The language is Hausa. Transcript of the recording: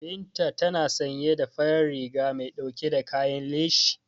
Binta tana sanye da farar riga mai dauke da kayan leshi.